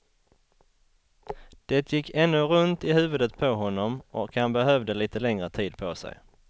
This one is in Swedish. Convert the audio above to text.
Det gick ännu runt i huvudet på honom och han behövde litet längre tid på sig.